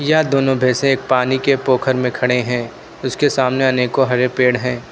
यह दोनों भैंसे पानी के पोखर में खड़े हैं उसके सामने आनेको हरे पेड़ हैं।